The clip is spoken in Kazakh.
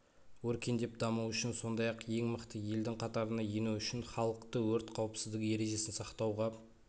өркендеп дамуы үшін сондай-ақ ең мықты елдің қатарына ену үшін халықты өрт қауіпсіздігі ережесін сақтауға